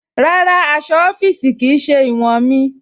Rárá, aṣọ̀ ọ̀fíìṣí kí í ṣẹ̀ iwọn mí.